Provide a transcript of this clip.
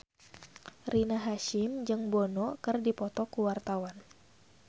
Rina Hasyim jeung Bono keur dipoto ku wartawan